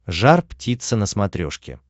жар птица на смотрешке